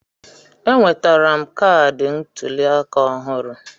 Enwetara m kaadị ntuli aka ọhụrụ.